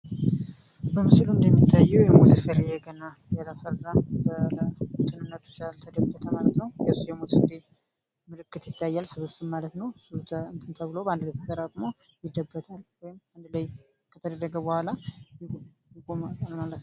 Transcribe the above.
በምስሉ ላይ የሚታየው የሙዝ ፍሬ ገና ያላፈራ በእንትንነቱ ሳያፈራ ማለት ነው የእሱ የሙዝ ፍሬ ምልክት ይታያል ስብስብ ማለት ነው። እሱ እንትን ተብሎ ባንድላይ ተጠራቅሞ ይደበታል ወይም አንድ ላይ ከተደረገ በኋላ።